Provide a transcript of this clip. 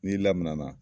N'i lamana